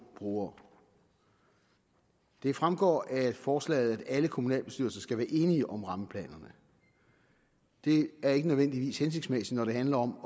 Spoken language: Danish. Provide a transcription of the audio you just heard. brugere det fremgår af forslaget at alle kommunalbestyrelser skal være enige om rammeplanerne det er ikke nødvendigvis hensigtsmæssigt når det handler om at